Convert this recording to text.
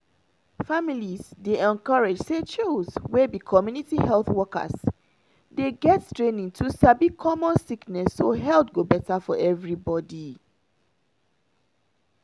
families dey encouraged say choose (community health workers) dey get training to sabi common sickness so health go better for everybody.